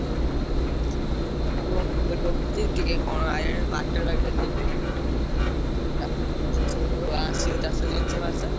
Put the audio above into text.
market ଫାରକେଟ ଯିବି ଆସିବ ସବୁ ଚାଷ ଜିନିଷ ବାସ।